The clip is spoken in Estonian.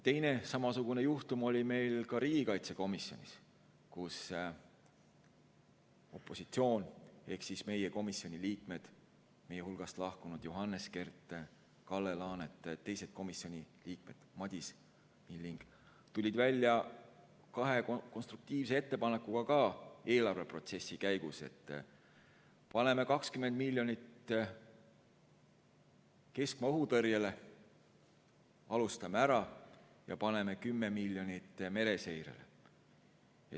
Teine samasugune juhtum oli riigikaitsekomisjonis, kus opositsioon ehk meie komisjoni liikmed, meie hulgast lahkunud Johannes Kert ning Kalle Laanet, Madis Milling ja teised komisjoni liikmed, tulid välja kahe konstruktiivse ettepanekuga eelarveprotsessi käigus, et paneme 20 miljonit keskmaa õhutõrjele, alustame ja paneme 10 miljonit mereseirele.